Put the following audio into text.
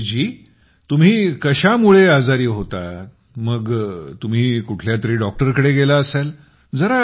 राजेश जी तुम्ही कशामुळे आजारी होता मग तुम्ही कुठल्यातरी डॉक्टरकडे गेला असाल